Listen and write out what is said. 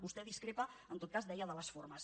vostè discrepa en tot cas deia de les formes